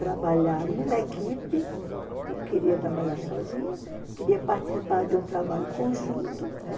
Trabalhar numa equipe, não queria trabalhar sozinha, queria participar de um trabalho conjunto, né?